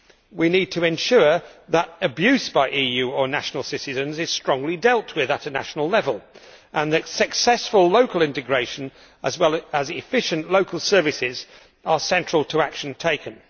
We need to ensure that abuse by EU or national citizens is strongly dealt with at national level and that successful local integration, as well as efficient local services, are central to any action taken.